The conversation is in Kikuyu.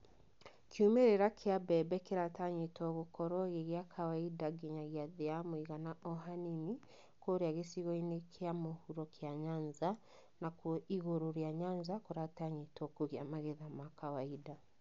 Kiumĩrĩra kĩa mbebe kĩratanywo gũkorwo gĩa kawaida nginyagĩa thĩ ya mũigana o hanini kũrĩa gicigo-inĩ gĩa mũhuro kĩa Nyanza na kũo Igũrũ rĩa Nyanza kũratanywo kũgĩa magetha ma kawaida.